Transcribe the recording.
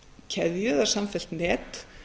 keðju eða samfellt net